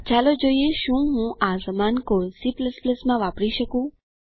ચાલો જોઈએ શું હું આ સમાન કોડ C માં વાપરી શકું